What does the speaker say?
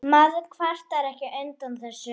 Maður kvartar ekki undan þessu.